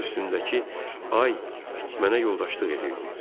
Başımın üstündəki ay mənə yoldaşlıq edirdi.